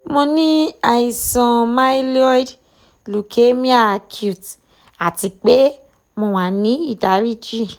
mo ní àìsàn myloid lukeamia acute àti pé mo wà ní ìdáríjì